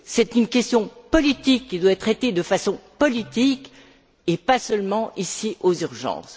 C'est une question politique qui doit être traitée de façon politique et pas seulement ici, aux urgences.